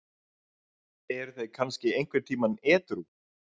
Eru þeir kannski einhvern tímann edrú?